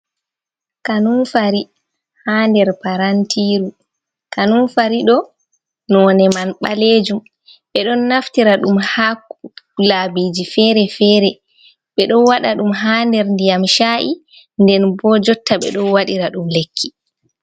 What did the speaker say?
Kanunfari ha nder parantiru. Kanunfari ɗo none man ɓalejum. Ɓe ɗon naftira ɗum ha labiji fere-fere; ɓe ɗon waɗa ɗum ha nder ndiyam cha’i, nden bo jotta ɓeɗo waɗira ɗum lekki.